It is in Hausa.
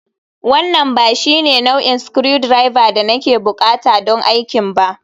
this is not the type of screwdriver I need for the work